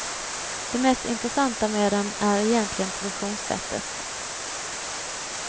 Det mest intressanta med dem är egentligen produktionssättet.